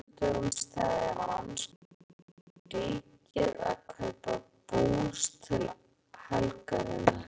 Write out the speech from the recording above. Á föstudögum steðjar mannskapurinn í Ríkið að kaupa bús til helgarinnar.